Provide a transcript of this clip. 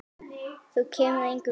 Hún kemur engum við.